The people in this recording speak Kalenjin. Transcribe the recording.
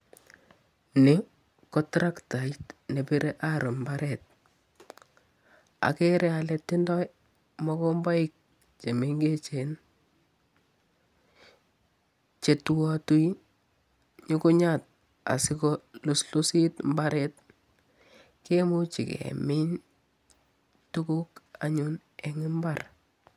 Ni ko traktait nebire arrow mbaret, akere ale tindoi mokomboik che mengechen che tuatui nyukunyat asi koluslusit mbaret, kemuchi kemin tuguk anyun eng imbar.